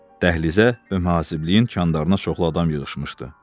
Dəhlizə və mühasibliyin kandarına çoxlu adam yığışmışdı.